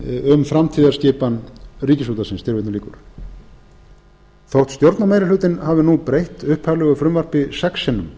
um framtíðarskipan ríkisútvarpsins þótt stjórnarmeirihlutinn hafi nú breytt upphaflegu frumvarpi sex